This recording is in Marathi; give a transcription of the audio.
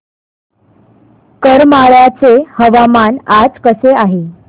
करमाळ्याचे हवामान आज कसे आहे